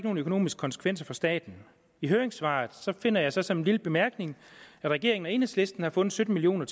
nogen økonomiske konsekvenser for staten i høringssvaret finder jeg så som en lille bemærkning at regeringen og enhedslisten har fundet sytten million